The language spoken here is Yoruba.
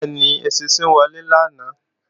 Bẹ́ẹ̀ni, eṣinṣin wọlé lánàá